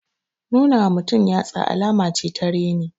Nuna wa mutum yatsa alama ce ta reni.